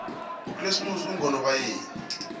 ukresimoxi ungonobayeni